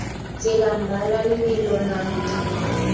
tsela mmala lebelo nako dingwaga